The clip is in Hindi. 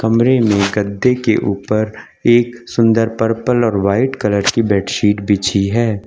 कमरे में गद्दे के ऊपर एक सुंदर पर्पल और व्हाइट कलर की बेडशीट बिछी है।